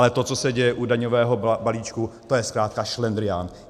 Ale to, co se děje u daňového balíčku, to je zkrátka šlendrián.